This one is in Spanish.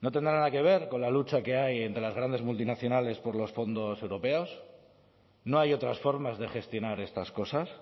no tendrá nada que ver con la lucha que hay entre las grandes multinacionales por los fondos europeos no hay otras formas de gestionar estas cosas